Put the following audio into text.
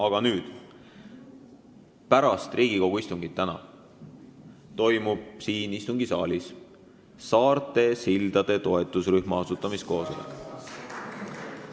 Aga nüüd: pärast tänast Riigikogu istungit toimub siin istungisaalis saarte sildade toetusrühma asutamiskoosolek.